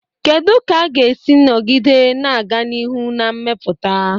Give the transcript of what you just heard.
Kedu ka a ga-esi nọgide na-aga n'ihu na mmepụta?